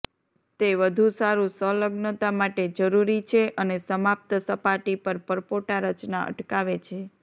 તે વધુ સારું સંલગ્નતા માટે જરૂરી છે અને સમાપ્ત સપાટી પર પરપોટા રચના અટકાવે છે